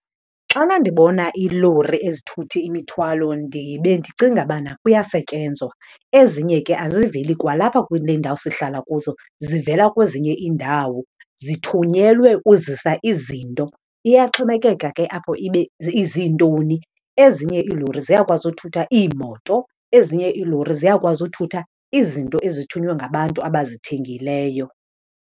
Xana ndibona iilori ezithutha imithwalo bendicinga bana kuyasetyenzwa. Ezinye ke aziveli kwalapha kule ndawo sihlala kuzo, zivela kwezinye iindawo, zithunyelwe uzisa izinto. Iyaxhomekeka ke apho ibe iziintoni, ezinye iilori ziyakwazi uthutha iimoto, ezinye iilori ziyakwazi uthutha izinto ezithunywe ngabantu abazithengileyo.